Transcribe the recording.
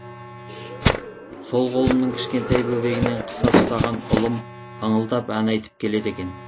сол қолымның кішкентай бөбегінен қыса ұстаған ұлым ыңылдап ән айтып келеді екен